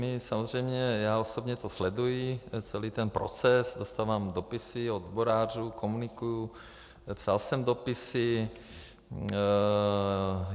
My samozřejmě, já osobně to sleduji, celý ten proces, dostávám dopisy od odborářů, komunikuji, psal jsem dopisy.